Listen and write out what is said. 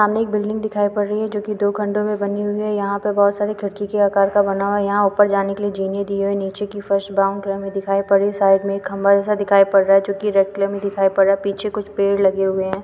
सामने एक बिल्डिंग दिखाई पड़ रही है जोकि दो खंडो में बनी हुई है यहाँ पे बहुत सारे खिड़की के आकार का बना हुआ है यहाँ ऊपर जाने के लिए जीने दी हुई है नीचे की फर्श ब्राउन कलर में दिखाई पड़ रही है साइड में एक खंभा जैसा दिखाई पड़ रहा है जोकि रेड कलर में दिखाई पड़ रहा है पीछे कुछ पेड़ लगे हुए हैं ।